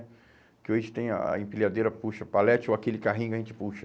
Que hoje tem a a empilhadeira, puxa, palete, ou aquele carrinho que a gente puxa.